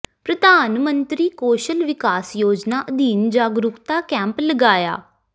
ਪ੍ਰਧਾਨ ਮੰਤਰੀ ਕੌਸ਼ਲ ਵਿਕਾਸ ਯੋਜਨਾ ਅਧੀਨ ਜਾਗਰੂਕਤਾ ਕੈਂਪ ਲਗਾਇਆ